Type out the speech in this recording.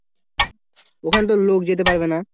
ওখানে তো লোক যেতে পারবে না